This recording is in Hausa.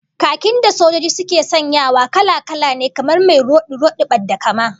Khakin da sojoji suke sanyawa kala-kala ne, kamar mai rodi-rodin badda-kama